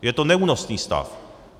Je to neúnosný stav.